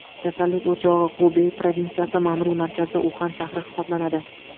Kasallik o‘chog‘i Xubey provinsiyasi ma’muriy markazi Uxan shahri hisoblanadi .